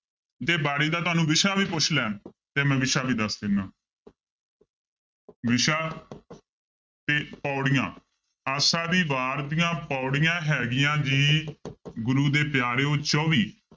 ਜੇ ਬਾਣੀ ਦਾ ਤੁਹਾਨੂੰ ਵਿਸ਼ਾ ਵੀ ਪੁੱਛ ਲੈਣ ਤੇ ਮੈਂ ਵਿਸ਼ਾ ਵੀ ਦੱਸ ਦਿਨਾ ਵਿਸ਼ਾ ਤੇ ਪਾਉੜੀਆਂ ਆਸਾ ਦੀ ਵਾਰ ਦੀਆਂ ਪਾਉੜੀਆਂ ਹੈਗੀਆਂ ਜੀ ਗੁਰੂ ਦੇ ਪਿਆਰਿਓ ਚੌਵੀ